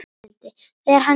Þegar hann kemur.